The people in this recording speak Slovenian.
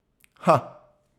Ha!